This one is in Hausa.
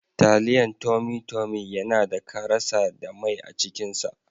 Taliyan tummy tummy yanada karasa da mai acikin sa.